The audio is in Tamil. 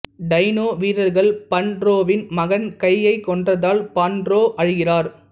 டைனோ வீரர்கள் பண்டோரவின் மகன் கையை கொன்றதால் பண்டோரா அழுகிறார்